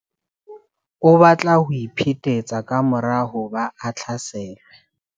O batla ho iphetetsa ka mora hoba a hlaselwe.